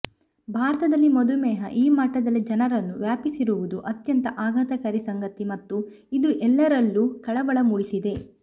ಭಾರತದಲ್ಲಿ ಮಧುಮೇಹ ಈ ಮಟ್ಟದಲ್ಲಿ ಜನರನ್ನು ವ್ಯಾಪಿಸಿರುವುದು ಅತ್ಯಂತ ಆಘಾತಕಾರಿ ಸಂಗತಿ ಮತ್ತು ಇದು ಎಲ್ಲರಲ್ಲೂ ಕಳವಳ ಮೂಡಿಸಿದೆ